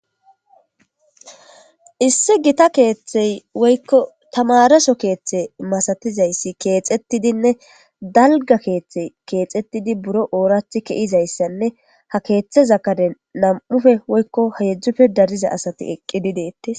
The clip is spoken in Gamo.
Issi gita keeththey woykko tamaraso keeththe masatizayssi keexettidinne dalga keeththey keexettidi buro oorathi kezizayssanne ha keeththeza karen nam'ufe woykko heedzdzufe dariza asati eqqidi deettis.